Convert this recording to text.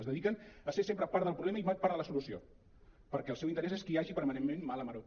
es dediquen a ser sempre part del problema i mai part de la solució perquè el seu interès és que hi hagi permanentment mala maror